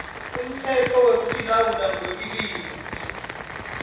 umtsetfo wekutilawula ngekwetilwimi